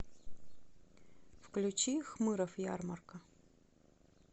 включи хмыров ярмарка